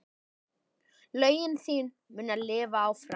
Lögin þín munu lifa áfram.